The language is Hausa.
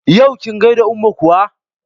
Yau kin gaida umma kuwa?